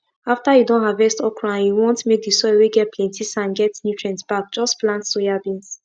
after you don harvest okrand you want make the soil whey get plenty sand get nutrients back just plant soyabeans